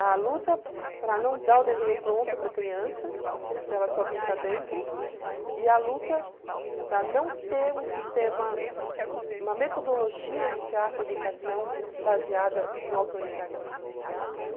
a luta para não dar o desenho pronto para a criança, para ela só pintar dentro, e a luta para não ter um sistema, uma metodologia de teatro-educação baseada no autoritarismo, né?